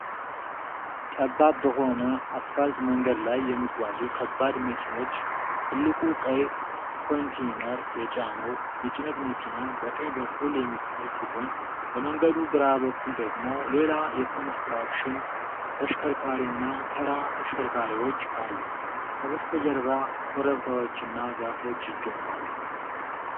ጠባብ በሆነ አስፋልት መንገድ ላይ የሚጓዙ ከባድ መኪኖች። ትልቁ ቀይ ኮንቴይነር የጫነው የጭነት መኪና በቀኝ በኩል የሚታይ ሲሆን፣ በመንገዱ ግራ በኩል ደግሞ ሌላ የኮንስትራክሽን ተሽከርካሪና ተራ ተሽከርካሪዎች አሉ። ከበስተጀርባ ኮረብታዎችና ዛፎች ይገኛሉ።